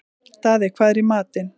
Daði, hvað er í matinn?